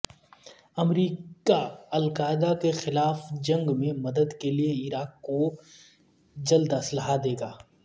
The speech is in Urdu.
امریکا القاعدہ کے خلاف جنگ میں مدد کے لیے عراق کو جلداسلحہ دے گا